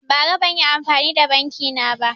Bara banyi amfani da banki na ba